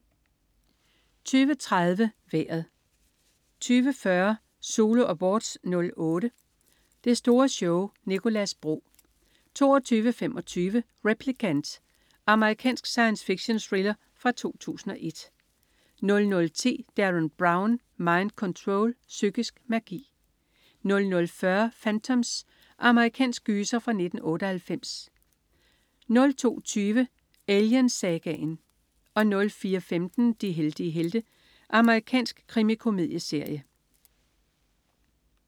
20.30 Vejret 20.40 Zulu Awards '08. Det store show. Nicolas Bro 22.25 Replicant. Amerikansk science fiction-thriller fra 2001 00.10 Derren Brown. Mind Control. Psykisk magi 00.40 Phantoms. Amerikansk gyser fra 1998 02.20 Alien-sagaen 04.15 De heldige helte. Amerikansk krimikomedieserie